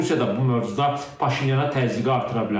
Rusiya da bu mövzuda Paşinyana təzyiqi artıra bilər.